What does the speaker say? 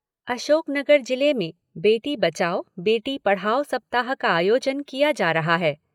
अशोकनगर जिले में बेटी बचाओ बेटी पढ़ाओ सप्ताह का आयोजन किया जा रहा है।